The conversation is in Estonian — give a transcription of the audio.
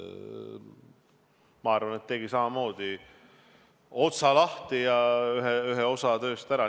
Ma arvan, et ta tegi samamoodi otsa lahti ja tegi ära ühe osa tööst.